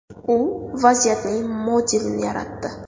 U vaziyatning modelini yaratdi.